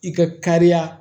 I ka kariya